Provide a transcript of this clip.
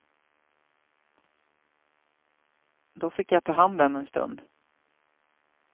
Då fick jag ta hand den en stund.